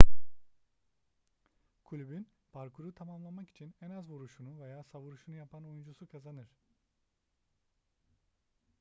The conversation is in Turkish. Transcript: kulübün parkuru tamamlamak için en az vuruşunu veya savuruşunu yapan oyuncusu kazanır